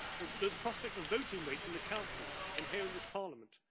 the prospect of voting weights in the Council and here in this Parliament